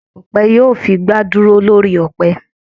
Akọ̀pẹ yóò fi igbà dúró lórí ọ̀pẹ